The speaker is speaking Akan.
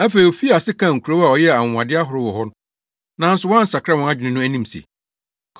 Afei, ofii ase kaa nkurow a ɔyɛɛ anwonwade ahorow wɔ hɔ nanso wɔansakra wɔn adwene no anim se,